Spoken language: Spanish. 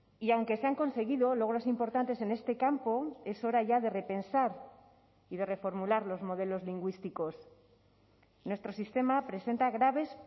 y aunque se han conseguido logros importantes en este campo es hora ya de repensar y de reformular los modelos lingüísticos nuestro sistema presenta graves